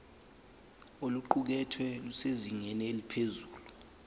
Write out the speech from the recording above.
oluqukethwe lusezingeni eliphezulu